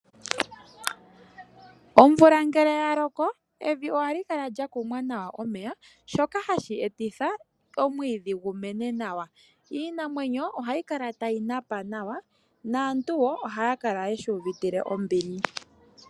Omvula ngele ya loko evi ohali kala lya kumwa nawa omeya shoka hashi etitha omwiidhi gu mene nawa. Iinamwenyo ohayi kala tayi napa nawa naantu wo ohaya kala ye shi uvitile ombili